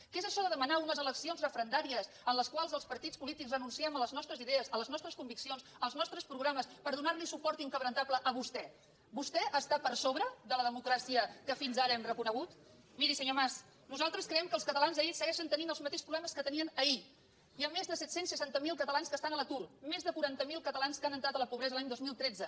què és això de demanar unes eleccions referendàries en les quals els partits polítics renunciem a les nostres idees a les nostres conviccions als nostres programes per donar li suport inquebrantable a vostè vostè està per sobre de la democràcia que fins ara hem reconegut miri senyor mas nosaltres creiem que els catalans segueixen tenint els mateixos problemes que tenien ahir hi ha més de set cents i seixanta miler catalans que estan a l’atur més de quaranta miler catalans que han entrat a la pobresa l’any dos mil catorze